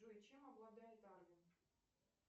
джой чем обладает арвин